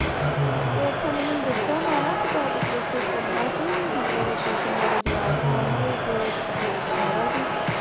ਤੇ ਅੱਛਾ ਮੈਨੂੰ ਦੱਸੋ ਮੈਂ ਨਾ ਇੱਕ topic discuss ਕਰਨਾ ਸੀ ਮਤਲਬ tuition ਵਾਲੇ ਜਵਾਕ ਓਹਨਾ ਨੇ ਇੱਕ ਹੈਗਾ ਸੀ